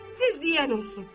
Siz deyən olsun.